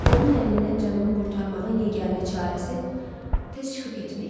Onun əlindən canımı qurtarmağın yeganə çarəsi tez çıxıb getməkdir.